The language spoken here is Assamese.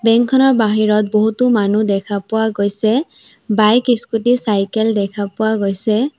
বেংক খনৰ বাহিৰত বহুতো মানুহ দেখা পোৱা গৈছে বাইক স্কুটি চাইকেল দেখা পোৱা গৈছে।